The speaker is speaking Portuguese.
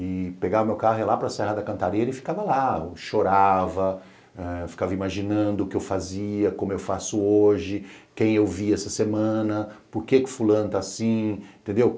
e pegava meu carro e ia lá para Serra da Cantaria e ele ficava lá, chorava, ficava imaginando o que eu fazia, como eu faço hoje, quem eu vi essa semana, por que que fulano tá assim, entendeu?